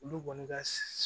Olu kɔni ka